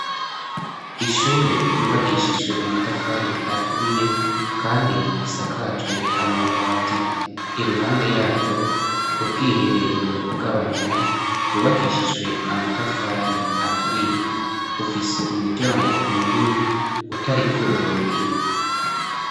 Ishure ryubakishijwe amatafari aturiye kandi risakajwe amabati iruhande yaryo ubwiherero bw'abamama bwubakishijwe amatafari aturiye bufise umuryango munini utari ku rugi.